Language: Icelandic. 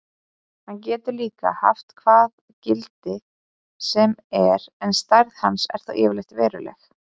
Hann getur líka haft hvað gildi sem er en stærð hans er þó yfirleitt veruleg.